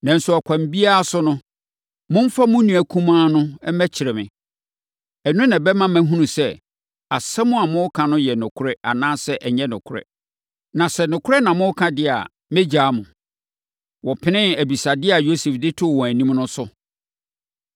Nanso, ɛkwan biara so no, momfa mo nua kumaa no mmɛkyerɛ me. Ɛno na ɛbɛma mahunu sɛ, asɛm a moreka no yɛ nokorɛ anaasɛ ɛnyɛ nokorɛ. Na sɛ nokorɛ na moreka deɛ a, mɛgyaa mo.” Wɔpenee abisadeɛ a Yosef de too wɔn anim no so.